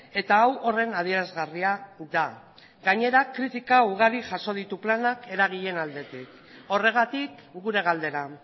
eta hau horren adierazgarria da gainera kritika ugari jaso ditu planak eragileen aldetik horregatik gure galdera